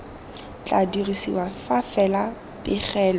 tla dirisiwa fa fela pegelo